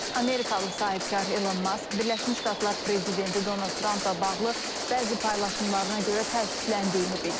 Amerikalı sahibkar İlon Mask Birləşmiş Ştatlar prezidenti Donald Trampla bağlı bəzi paylaşımlarına görə təəssüfləndiyini bildirib.